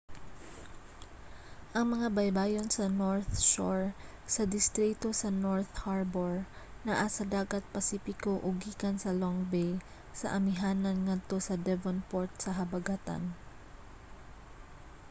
ang mga baybayon sa north shore sa distrito sa north harbour naa sa dagat pasipiko ug gikan sa long bay sa amihanan ngadto sa devonport sa habagatan